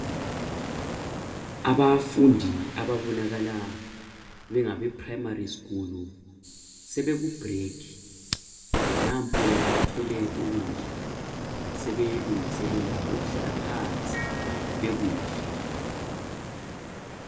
Abafundi ababonakala bengabe primary school sebekubreak. Nampo bathwele ukudla. Sebelungiselela ukuhlala phansi bekudle.